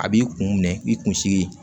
A b'i kun minɛ i kun sigi